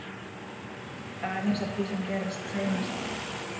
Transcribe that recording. Aðeins af því sem gerðist seinast.